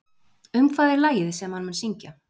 Um hvað er lagið sem hann mun syngja?